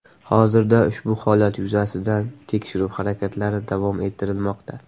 Hozirda ushbu holat yuzasidan tekshiruv harakatlari davom ettirilmoqda.